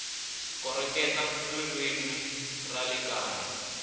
koreketa ririmi ra le kaya